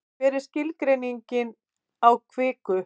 hver er skilgreining á kviku